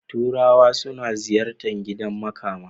Turawa suna ziyarta gidan makama.